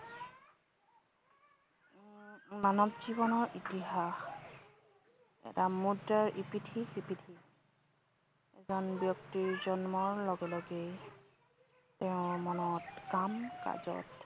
মানৱ জীৱনৰ ইতিহাস এটা মূদ্ৰাৰ ইপিঠি সিপিঠি। এজন ব্যক্তিৰ জন্মৰ লগে লগেই, তেওঁৰ মনত কাম কাজত